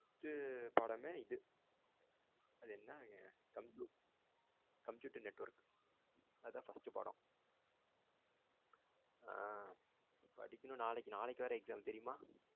first ட்டு பாடமே இது அது என்ன computer computer network அத first பாடம். ஆ படிக்கணும் நாளைக்கு. நாளைக்கு வேற exam தெரியுமா?